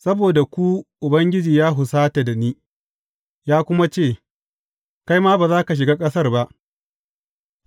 Saboda ku Ubangiji ya husata da ni, ya kuma ce, Kai ma, ba za ka shiga ƙasar ba.